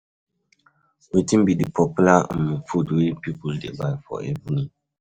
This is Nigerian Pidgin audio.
Wetin be di popular um food wey people dey buy for evening?